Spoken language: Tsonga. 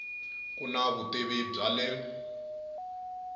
ku na vutivi bya le